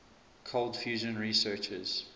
cold fusion researchers